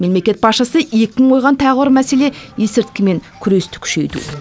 мемлекет басшысы екпін қойған тағы бір мәселе есірткімен күресті күшейту